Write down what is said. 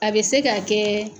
A bɛ se ka kɛ